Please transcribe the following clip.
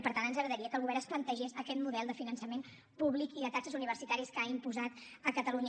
i per tant ens agradaria que el govern es plantegés aquest model de finançament públic i de taxes universitàries que ha imposat a catalunya